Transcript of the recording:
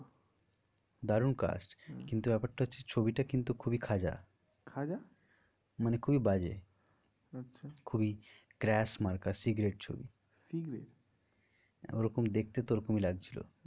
দারুন হম কিন্তু ব্যাপারটা হচ্ছে ছবিটা কিন্তু খুবই খাঁজা খাঁজা মানে খুবই বাজে আচ্ছা খুবই crash মার্কা secret ছবি secret ওরকম দেখতে তো ওরকমই লাগছিল।